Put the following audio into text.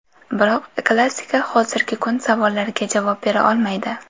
Biroq klassika hozirgi kun savollariga javob bera olmaydi.